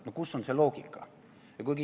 No kus on loogika?